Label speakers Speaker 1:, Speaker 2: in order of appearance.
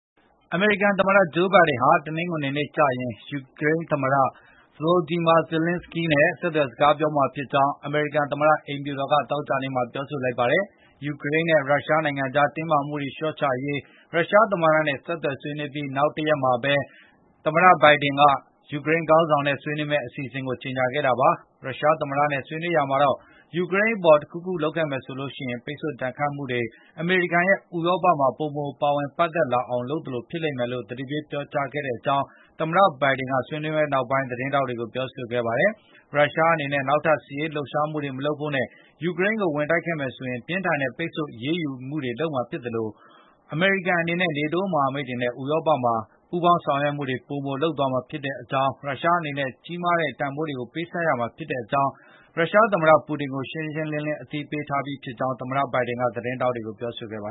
Speaker 1: အမေရိကန်သမ္မတ Joe Biden ဟာ တနင်္ဂနွေနေ့ကျရင် ယူကရိန်းသမတ Volodymyr Zelenskiy နဲ့ ဆက်သွယ်စကားပြောမှာဖြစ်ကြောင်း အမေရိကန်သမတ အိမ်ဖြူတော်က သောကြာနေ့မှာ ပြောလိုက်ပါတယ်။ ယူကရိန်းနဲ့ ရုရှားနိုင်ငံကြား တင်းမာမှုတွေ လျှော့ချရေး ရုရှားသမ္မတနဲ့ ဆက်သွယ်ဆွေးနွေးအပြီး နောက်တရက်မှာပဲ သမ္မတဘိုင်ဒင် ယူကရိန်းခေါင်းဆောင်နဲ့ ဆွေးနွေးမယ့်အစီအစဉ်ကို ကြေညာခဲ့တာပါ။ ရုရှားသမ္မတနဲ့ ဆွေးနွေးရာမှာတော့ ယူကရိန်းအပေါ် တခုခုလုပ်ခဲ့မယ်ဆိုရင် ပိတ်ဆို့ဒဏ်ခတ်မှုတွေ၊ အမေရိကန်ရဲ့ ဥရောပမှာ ပိုမိုပါဝင်ပတ်သက်လာအောင် လုပ်သလို ဖြစ်လိမ့်မယ်လို့ သတိပေးပြောကြားခဲ့ကြောင်း သမ္မတဘိုင်ဒင်က ဆွေးနွေးပွဲနောက်ပိုင်း သတင်းထောက်တွေကို ပြောဆိုခဲ့ပါတယ်။ ရုရှားနေနဲ့နောက်ထပ်စစ်ရေးလှုပ်ရှားမှုတွေမလုပ်ဖို့နဲ့၊ ယူကရိန်းကိုဝင်တိုက်ခဲ့မယ်ဆိုရင် ပြင်းထန်တဲ့ ပိတ်ဆို့အရေးယူမှုတွေလုပ်မှာဖြစ်သလို။ အမေရိကန်အနေနဲ့ NATO မဟာမိတ်တွေနဲ့ ဥရောပမှာ ပိုမိုပူးပေါင်းဆောင်ရွက်သွားမှာဖြစ်ကြောင်းနဲ့ ရုရှားအနေနဲ့ ကြီးမားတဲ့တန်ဘိုးပြန်လည်ပေးဆပ်ရလိမ့်မယ်ဆိုတာကို ရုရှားသမတ Putin ကိုရှင်းရှင်း လင်းအသိပေးထားပြီးသာ
Speaker 2: းဖြစ်တယ်လို့ သမတ ဘိုင်ဒင်ကသတင်းထောက်တွေကို ပြောဆိုခဲ့တာပါ